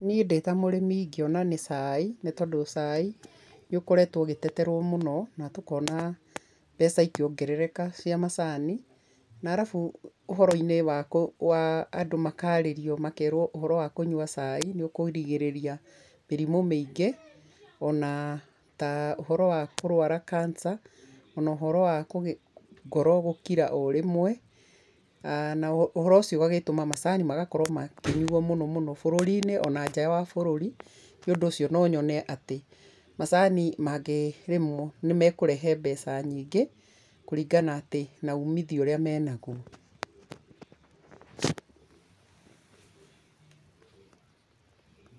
Niĩ ndĩta mũrĩmi ingĩona nĩ cai nĩtondũ cai nĩ ũkoretwo ũgĩteterwo mũno na tũkona mbeca ikĩongerereka cia macani na arabu ũhoroinĩ wa andũ makarĩrio makerwo ũhoro wa kũnyua cai nĩ ũkũrigĩrĩria mĩrimũ mĩingĩ ona ta ũhoro wa kũrwara cancer ona ũhoro wa ngoro gũkira o rĩmwe na ũhoro ũcio ũgagĩtũma macani magakorwo makĩnyuo mũno mũno bũrũriinĩ ona nja wa bũrũri, Nĩ ũndũ ũcio no nyone atĩ macani mangĩrĩmũo nĩ mekũrehe mbeca nyingĩ kũringana atĩ na uumithio ũrĩa menagũo.